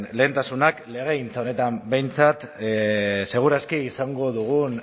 lehentasunak legegintza honetan behintzat seguraski izango dugun